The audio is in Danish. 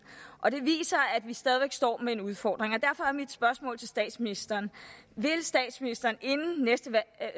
og det viser at vi stadig væk står med en udfordring derfor er mit spørgsmål til statsministeren vil statsministeren inden næste